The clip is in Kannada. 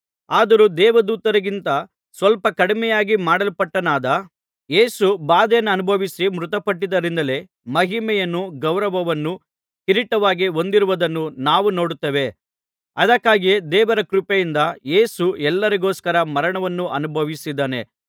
ಆದರೂ ದೇವದೂತರಿಗಿಂತ ಸ್ವಲ್ಪ ಕಡಿಮೆಯಾಗಿ ಮಾಡಲ್ಪಟ್ಟವನಾದ ಯೇಸು ಬಾಧೆಯನ್ನುಭವಿಸಿ ಮೃತಪಟ್ಟದ್ದರಿಂದಲೇ ಮಹಿಮೆಯನ್ನೂ ಗೌರವವನ್ನೂ ಕಿರೀಟವಾಗಿ ಹೊಂದಿರುವುದನ್ನು ನಾವು ನೋಡುತ್ತೇವೆ ಅದಕ್ಕಾಗಿಯೇ ದೇವರ ಕೃಪೆಯಿಂದ ಯೇಸು ಎಲ್ಲರಿಗೋಸ್ಕರ ಮರಣವನ್ನು ಅನುಭವಿಸಿದ್ದಾನೆ